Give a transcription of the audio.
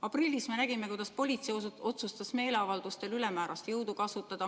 Aprillis me nägime, kuidas politsei otsustas meeleavaldustel ülemäärast jõudu kasutada.